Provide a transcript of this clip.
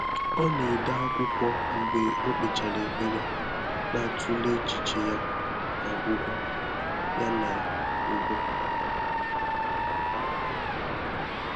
Ọ́ nà-édé ákwụ́kwọ́ mgbè ọ́ kpèchàrà ékpèré, nà-àtụ́lé échíché yá nà ọ́gwụ́gwọ́. yá nà ọ́gwụ́gwọ́.